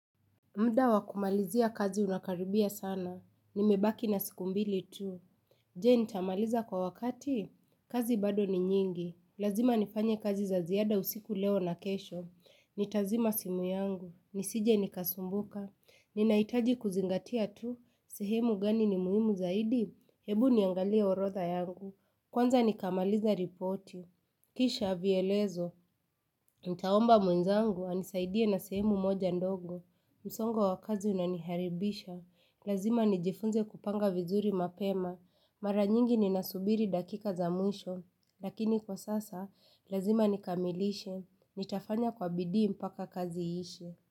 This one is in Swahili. Muda wa kumalizia kazi unakaribia sana. Nimebaki na siku mbili tu. Je nitamaliza kwa wakati?. Kazi bado ni nyingi. Lazima nifanye kazi za ziada usiku leo na kesho. Nitazima simu yangu. Nisije nikasumbuka. Ninahitaji kuzingatia tu. Sehemu gani ni muhimu zaidi. Hebu niangalia orodha yangu. Kwanza nikamaliza ripoti. Kisha vyelezo. Nitaomba mwenzangu, anisaidie na sehemu moja ndogo. Msongo wa kazi unaniharibisha, lazima nijifunze kupanga vizuri mapema, mara nyingi ninasubiri dakika za mwisho, lakini kwa sasa, lazima nikamilishe, nitafanya kwa bidii mpaka kazi iishe.